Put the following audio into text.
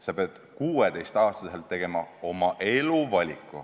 Sa pead 16-aastaselt tegema oma elu valiku.